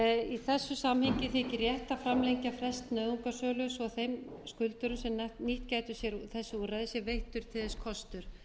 í þessu samhengi þykir rétt að framlengja frest nauðungarsölu svo að þeim skuldurum sem nýtt gætu sér þessi úrræði sé veittur til þess kostur